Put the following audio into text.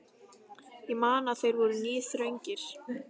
Ég man að þeir voru níðþungir.